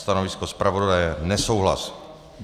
Stanovisko zpravodaje - nesouhlas.